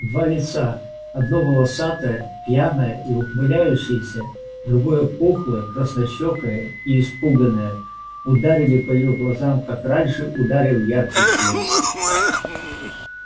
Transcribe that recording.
два лица одно волосатое пьяное и ухмыляющееся другое пухлое краснощёкое и испуганное ударили по её глазам как раньше ударил яркий свет